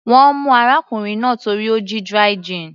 Wọ́n mú arákùnrin náà torí ó jí dry gin.